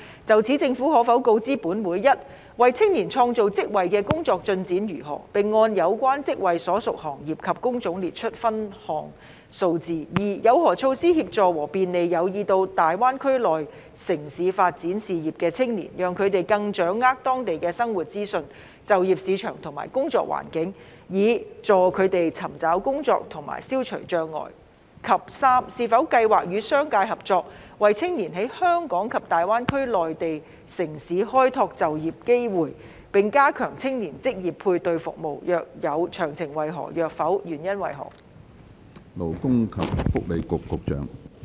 就此，政府可否告知本會：一為青年創造職位的工作進展為何，並按有關職位所屬行業及工種列出分項數字；二有何措施協助和便利有意到大灣區內地城市發展事業的青年，讓他們更掌握當地的生活資訊、就業市場和工作環境，以助他們尋找工作和消除障礙；及三有否計劃與商界合作，為青年在香港及大灣區內地城市開拓就業機會，並加強青年職業配對服務；若有，詳情為何；若否，原因為何？